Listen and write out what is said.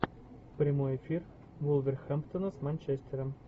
прямой эфир вулверхэмптона с манчестером